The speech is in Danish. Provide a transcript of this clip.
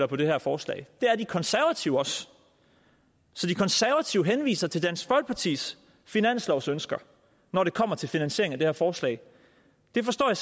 på det her forslag det er de konservative også så de konservative henviser til dansk folkepartis finanslovsønsker når det kommer til finansiering af det her forslag det forstår jeg